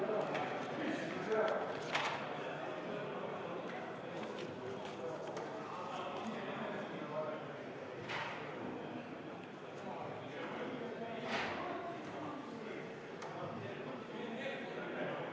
Austatud Riigikogu, panen hääletusele muudatusettepaneku nr 4, mille on esitanud Eesti Vabaerakonna fraktsioon ja mille juhtivkomisjon on jätnud arvestamata.